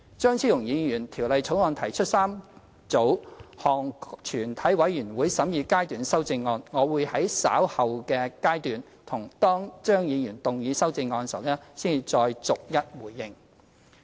張超雄議員就《條例草案》提出3組全體委員會審議階段修正案，我會在稍後的階段，當張議員動議修正案時，才再逐一回應。